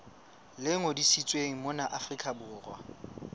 le ngodisitsweng mona afrika borwa